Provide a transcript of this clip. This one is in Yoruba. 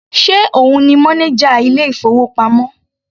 Ṣe òun ni mọ́néjà ilé ìfowópamọ́?